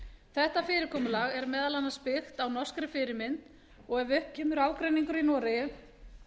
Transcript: þetta fyrirkomulag er meðal annars byggt á norskri fyrirmynd en ef upp kemur ágreiningur í noregi